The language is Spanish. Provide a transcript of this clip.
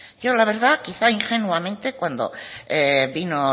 yo la verdad quizá ingenuamente cuando vino